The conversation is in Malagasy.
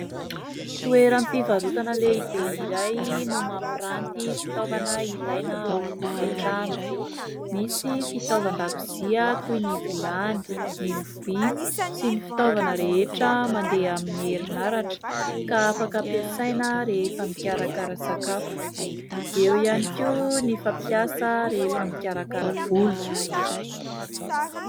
Toeram-pivarotana lehibe iray no mampiranty fitaovana ilaina ao an-tokantrano. Misy fitaovan-dakozia toy ny vilany, ny lovia, sy ny fitaovana rehetra mandeha amin'ny herinaratra, ka afaka ampiasaina rehefa mikarakara sakafo. Eo ihany koa ny fampiasa rehefa mikarakara volo.